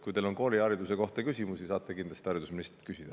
Kui teil on koolihariduse kohta küsimusi, saate kindlasti haridusministrilt küsida.